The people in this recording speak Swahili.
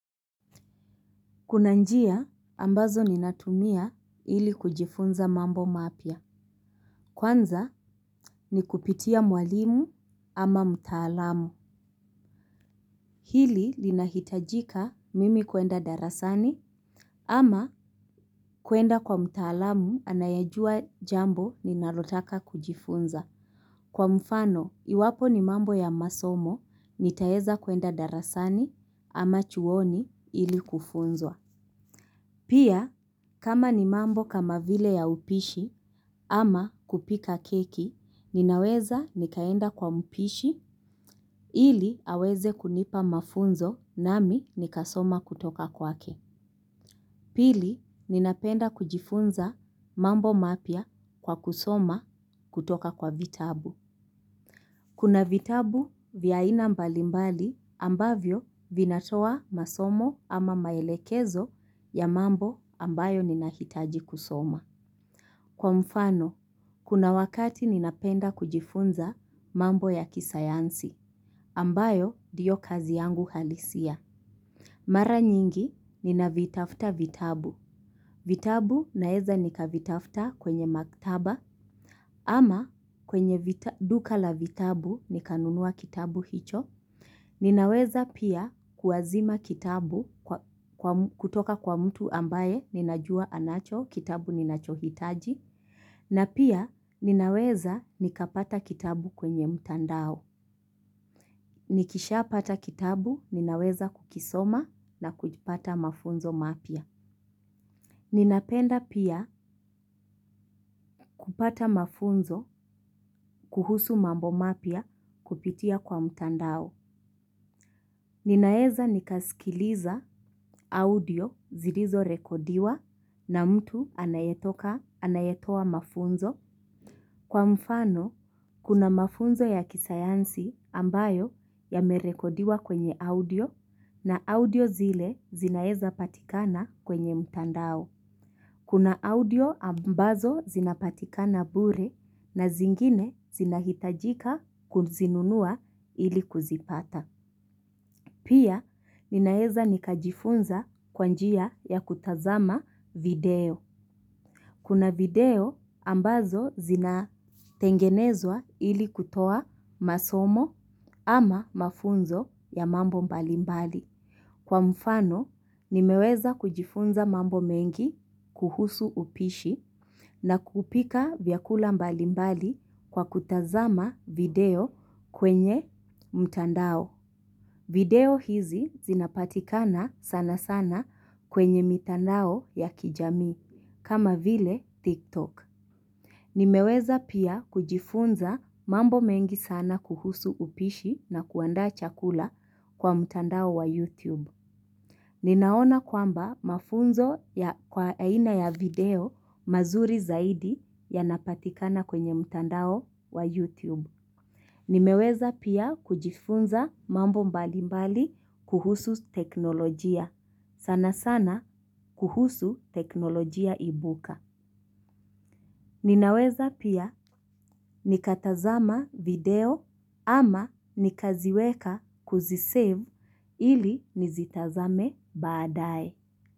Kuna njia ambazo ninatumia ili kujifunza mambo mapya. Kwanza ni kupitia mwalimu ama mtaalamu. Hili lina hitajika mimi kuenda darasani ama kuenda kwa mtaalamu anayejua jambo ninalotaka kujifunza. Kwa mfano iwapo ni mambo ya masomo nitaeza kwenda darasani ama chuoni ili kufunzwa. Pia, kama ni mambo kama vile ya upishi ama kupika keki, ninaweza nikaenda kwa mpishi ili aweze kunipa mafunzo nami nikasoma kutoka kwake. Pili, ninapenda kujifunza mambo mapia kwa kusoma kutoka kwa vitabu. Kuna vitabu vya aina mbalimbali ambavyo vinatoa masomo ama maelekezo ya mambo ambayo ninahitaji kusoma. Kwa mfano, kuna wakati ninapenda kujifunza mambo ya kisayansi ambayo diyo kazi yangu halisia. Mara nyingi, ninavitafta vitabu. Vitabu naeza nikavitafta kwenye maktaba ama kwenye duka la vitabu nikanunua kitabu hicho. Ninaweza pia kuazima kitabu kutoka kwa mtu ambaye ninajua anacho kitabu ninachohitaji. Na pia ninaweza nikapata kitabu kwenye mtandao. Nikisha pata kitabu ninaweza kukisoma na kujipata mafunzo mapya. Ninapenda pia kupata mafunzo kuhusu mambo mapya kupitia kwa mtandao. Ninaeza nikaskiliza audio zirizo rekodiwa na mtu anayetoka anayetoa mafunzo kwa mfano kuna mafunzo ya kisayansi ambayo yamerekodiwa kwenye audio na audio zile zinaeza patikana kwenye mtandao. Kuna audio ambazo zinapatikana bure na zingine zinahitajika kuzinunua ili kuzipata. Pia ninaeza nikajifunza kwa njia ya kutazama video. Kuna video ambazo zinatengenezwa ili kutoa masomo ama mafunzo ya mambo mbalimbali. Kwa mfano, nimeweza kujifunza mambo mengi kuhusu upishi na kupika vyakula mbali mbali kwa kutazama video kwenye mtandao. Video hizi zinapatikana sana sana kwenye mitandao ya kijamii kama vile TikTok. Nimeweza pia kujifunza mambo mengi sana kuhusu upishi na kuandaa chakula kwa mtandao wa YouTube. Ninaona kwamba mafunzo ya kwa aina ya video mazuri zaidi yanapatikana kwenye mtandao wa YouTube. Nimeweza pia kujifunza mambo mbali mbali kuhusu teknolojia. Sana sana kuhusu teknolojia ibuka. Ninaweza pia nikatazama video ama nikaziweka kuzisave ili nizitazame baadae.